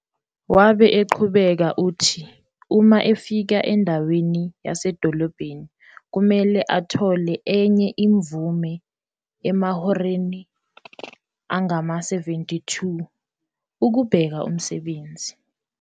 Wabe uqhubeka uthi uma efika endaweni yasedolobheni kumele athole enye imvume emahoreni angama-72 ukubheka umsebenzi.